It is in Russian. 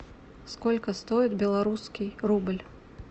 сколько стоит белорусский рубль